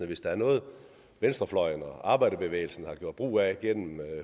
hvis der er noget venstrefløjen og arbejderbevægelsen har gjort brug af gennem